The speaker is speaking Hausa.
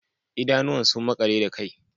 Idanuwan sun makale da kai